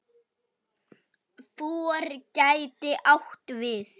FOR gæti átt við